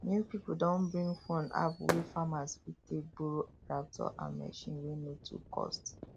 new people don bring phone app wey farmers fit take borrow tractor and machine wey no too cost